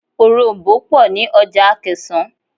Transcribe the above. Òroǹbó pọ̀ ní ọjà Akẹ̀sán.